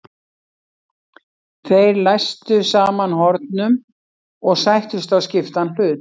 Þeir læstu saman hornum og sættust á skiptan hlut.